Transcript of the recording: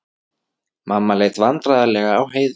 Mamma leit vandræðalega á Heiðu.